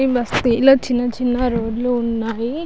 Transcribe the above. ఈ బస్తి లో చిన్న చిన్న రోడ్ లు ఉన్నాయి.